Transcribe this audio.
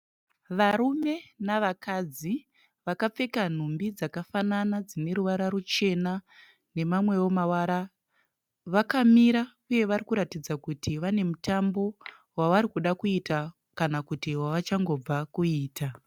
Varume nevakadzi vakapfeka nhumbi dzakafanana dzine ruvara ruchena nemamwewo mavara vakamira uye varikuratidza kuti vane mutambo wavarikuda kuita kana kuti wavachangobva kuita.